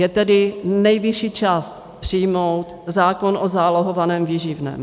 Je tedy nejvyšší čas přijmout zákon o zálohovaném výživném.